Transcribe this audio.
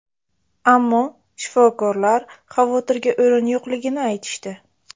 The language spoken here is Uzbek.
Ammo shifokorlar xavotirga o‘rin yo‘qligini aytishdi.